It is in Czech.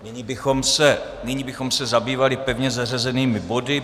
Nyní bychom se zabývali pevně zařazenými body.